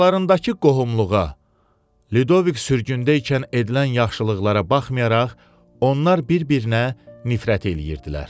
Aralarındakı qohumluğa, Ludovik sürgündə ikən edilən yaxşılıqlara baxmayaraq, onlar bir-birinə nifrət eləyirdilər.